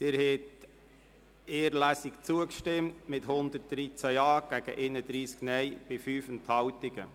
Sie haben den Antrag auf nur eine Lesung unterstützt mit 113 Ja- gegen 31 Nein-Stimmen bei 5 Enthaltungen.